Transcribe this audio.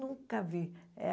Nunca vi.